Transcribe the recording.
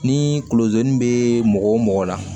Ni kulozɛni be mɔgɔ mɔgɔ la